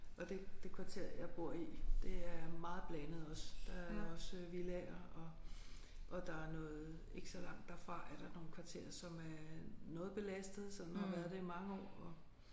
Og det det kvarter jeg bor i det er meget blandet også. Der er også villaer og og der er noget ikke så langt derfra er der nogle kvarterer som er noget belastede som har været det i mange år og